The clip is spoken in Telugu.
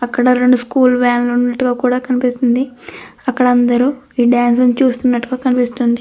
అక్కడ రెండు స్కూల్ వాన్లు ఉన్నట్టుగా కూడ కనిపిస్తుంది. అక్కడ అందరూ ఈ డాన్స్ ని చూస్తున్నట్టుగా కనిపిస్తుంది.